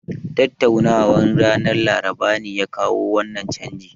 Tattaunawan ranar Laraba ne ya kawo wannan canji